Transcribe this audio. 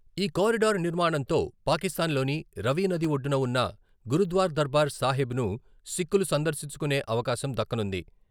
ఈ కారిడర్ నిర్మాణంతో పాకిస్తాన్ లోని రవి నది ఒడ్డున ఉన్న గురుద్వార దర్బార్ సాహెబ్ను సిక్కులు సందర్శించుకునే అవకాశం దక్కనుంది.